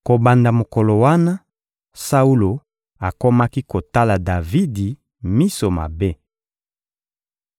Kobanda mokolo wana, Saulo akomaki kotala Davidi miso mabe.